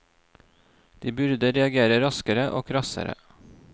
De burde reagere raskere og krassere.